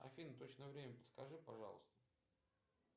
афина точное время подскажи пожалуйста